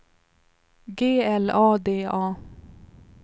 G L A D A